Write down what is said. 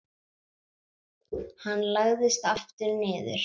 Hann lagðist aftur niður.